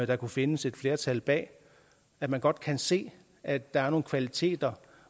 der kunne findes et flertal bag at man godt kan se at der er nogle kvaliteter